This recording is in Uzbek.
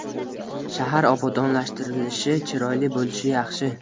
Shahar obodonlashtirilishi, chiroyli bo‘lishi yaxshi.